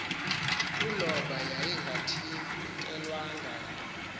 uloba yayingathintelwanga nto